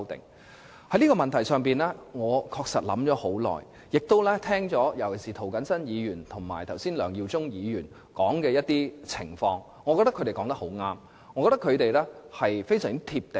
我也有就這個問題思考良久，亦聆聽了剛才涂謹申議員及梁耀忠議員提述的情況，我認為他們都說得很對，而且非常"貼地"。